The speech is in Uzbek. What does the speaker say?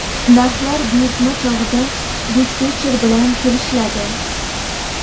Narxlar buyurtma chog‘ida dispetcher bilan kelishiladi.